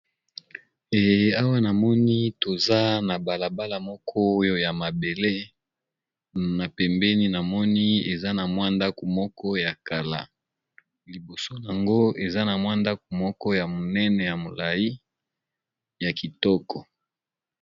Eh awa na moni toza na bala bala moko oyo ya mabele na pembeni na moni eza na mwa ndaku moko ya kala, liboso nango eza na mwa ndaku moko ya monene ya molayi ya kitoko.